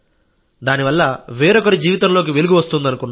దానివల్ల వేరొకరి జీవితంలోకి వెలుగు వస్తుందనుకున్నాం